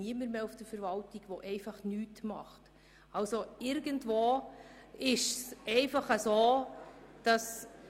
Es gibt in der Verwaltung eigentlich niemanden mehr, der nichts tut.